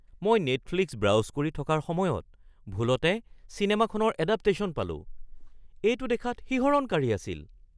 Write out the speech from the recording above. মই Netflix browse কৰি থকাৰ সময়ত ভুলতে চিনেমাখনৰ এডাপটেশ্যন পালো। এইটো দেখাত শিহৰণকাৰী আছিল! (বন্ধু ২)